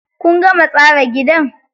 Kun gama tsara gidan?